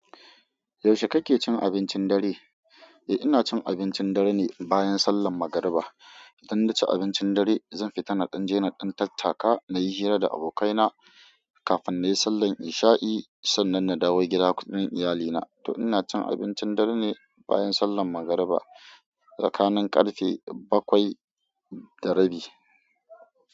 Yaushe kake cin abincin dare? Eh, ina cin abincin dare ne bayan sallan magariba. iDan na ci abincin dare zan fita na ɗan je na ɗan tattaka na yi hira da abokaina kafin na yi sallan isha'i sannan na dawo gida kuɗin iyalina. To ina cin abincin dare ne bayan sallan mangariba tsakanin karfe bakwai da rabi.